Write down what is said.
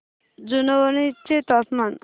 जुनवणे चे तापमान